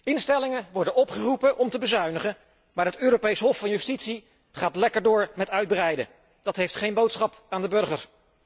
Instellingen worden opgeroepen om te bezuinigen, maar het Europees Hof van Justitie gaat lekker door met uitbreiden, dat heeft geen boodschap aan de burger.